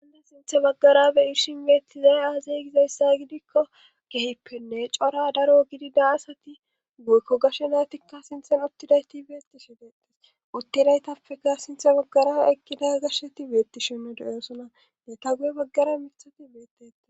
Ane sinthe baggarabe irshin beettizay aazeygizayssa gidikko kehippenne cora daro gidida asati guykko gashe naatikka sinthen uttidayti beettishe deettes uttidaytappeka sinthe baggara ekkida garshsheti beetti shinna doyosona neta guye baggara mithati beetete.